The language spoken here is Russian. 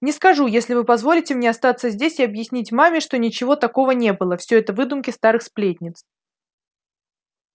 не скажу если вы позволите мне остаться здесь и объясните маме что ничего такого не было всё это выдумки старых сплетниц